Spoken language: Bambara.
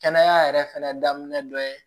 Kɛnɛya yɛrɛ fɛnɛ daminɛ dɔ ye